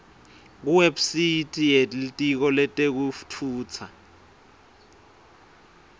kuwebsite yelitiko letekutfutsa